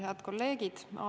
Head kolleegid!